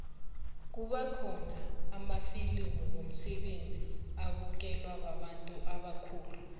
kuba khona namafilimu womseme abukelwa babantu ubakhulu